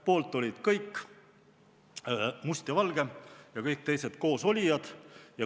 Poolt olid kõik: Must ja Valge ja teised koosolijad.